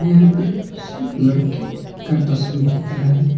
यहां पे सिर्फ लड़के का तस्वीर दिख रहा है।